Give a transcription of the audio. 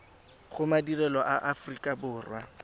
go madirelo a aforika borwa